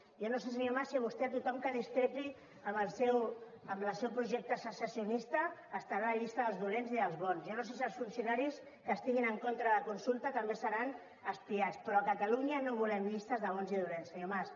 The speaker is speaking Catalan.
jo no sé senyor mas si vostè a tothom que discrepi amb el seu projecte secessionista estarà a la llista dels dolents i dels bons jo no sé si els funcionaris que estiguin en contra de la consulta també seran espiats però a catalunya no volem llistes de bons i dolents senyor mas